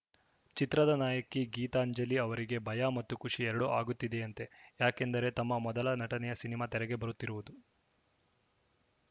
ಚಿತ್ರದ ನಾಯಕಿ ಗೀತಾಂಜಲಿ ಅವರಿಗೆ ಭಯ ಮತ್ತು ಖುಷಿ ಎರಡೂ ಆಗುತ್ತಿದೆಯಂತೆ ಯಾಕೆಂದರೆ ತಮ್ಮ ಮೊದಲ ನಟನೆಯ ಸಿನಿಮಾ ತೆರೆಗೆ ಬರುತ್ತಿರುವುದು